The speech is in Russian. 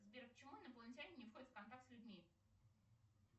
сбер почему инопланетяне не входят в контакт с людьми